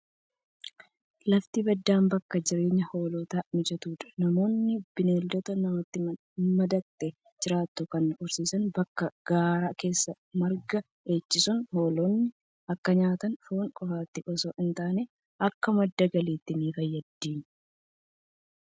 Lafti baddaan bakka jireenyaa hoolotaaf mijatudha. Namoonni bineelda namatti madaqxee jiraattu kana horsiisan bakka gaaraa geessanii marga dheedchisu. Hoolonni akka nyaata foonii qofaatti osoo hin taane, akka madda galiittis ni fayyaddi.